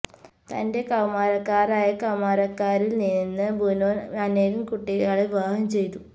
തന്റെ കൌമാരക്കാരായ കൌമാരക്കാരിൽ നിന്ന് ബുനോൻ അനേകം കുട്ടികളെ വിവാഹം ചെയ്തു